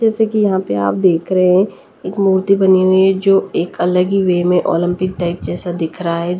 जैसे कि यहाँ पे आप देख रहे हैं एक मूर्ति बनी हुई है जो एक अलग ही वे में ओलंपिक टाइप जैसा दिख रहा है।